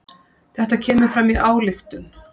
Þetta kemur fram í ályktun